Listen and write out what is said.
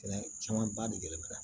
Sɛnɛ caman ba de bɛ na